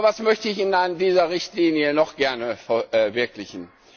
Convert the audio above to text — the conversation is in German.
Aber was möchte ich in dieser Richtlinie noch gerne verwirklichen?